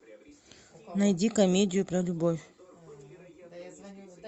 найди комедию про любовь